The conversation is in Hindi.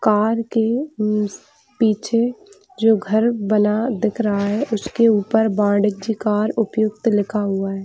कार के पीछे जो घर बना दिख रहा है उसके ऊपर वाणिज्य कार उपयुक्त लिखा हुआ है।